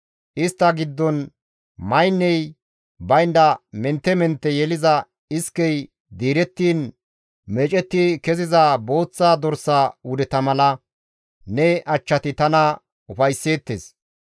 Istta giddon maynney baynda mentte mentte yeliza iskey diirettiin meecetti keziza booththa dorsa wudeta mala ne achchati tana ufaysseettes.